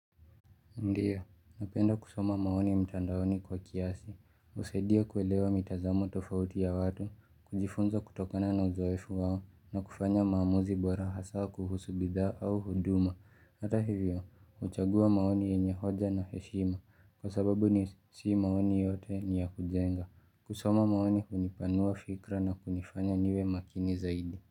Ndiyo, napenda kusoma maoni ya mtandaoni kwa kiasi, husaidia kuelewa mitazamo tofauti ya watu, kujifunza kutokana na uzoefu wao na kufanya maamuzi bora hasa kuhusu bidhaa au huduma. Hata hivyo, huchagua maoni yenye hoja na heshima kwa sababu ni si maoni yote ni ya kujenga. Kusoma maoni hunipanua fikra na kunifanya niwe makini zaidi.